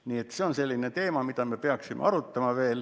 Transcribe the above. Nii et see on selline teema, mida me peaksime veel arutama.